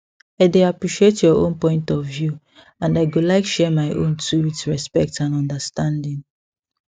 i dey appreciate your own point of view and i go like share my own too with respect and understanding